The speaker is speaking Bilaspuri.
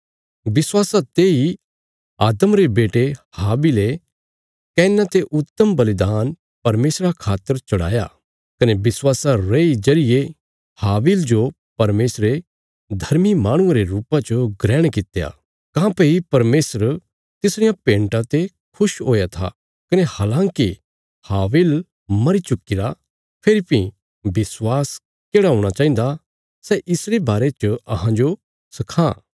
विश्वासा तेई आदम रे बेटे हाबिले कैना ते उत्तम बलिदान परमेशरा खातर चढ़ाया कने विश्वासा रेई जरिये हाबिल जो परमेशरे धर्मी माहणुये रे रुपा च ग्रहण कित्या काँह्भई परमेशर तिसरियां भेन्टां ते खुश हुया था कने हलाँकि हाबिल मरी चुक्कीरा फेरी भीं विश्वास केढ़ा हूणा चाहिन्दा सै इस बारे च अहांजो सखां